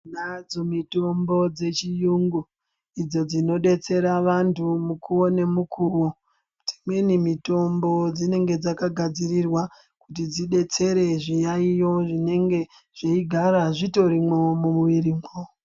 Nadzo mitombo yechiyungu idzo dzinodetserwa vantu mukuwo nemukuwo. Dzimweni mitombo dzinenge dzakagadzirirwa kuti zvidetsere zviyayiyo zvinenge zveigara zvitorimwo mumwirimwo.